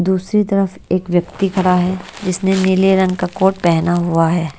दूसरी तरफ एक व्यक्ति खड़ा है जिसने नीले रंग का कोट पहना हुआ है।